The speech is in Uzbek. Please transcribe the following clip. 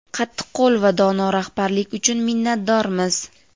qattiqqo‘l va dono rahbarlik uchun minnatdormiz.